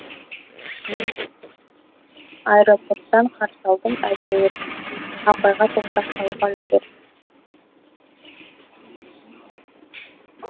аэропорттан қарсы алдым әйтеуір апайға топырақ салуға үлгерді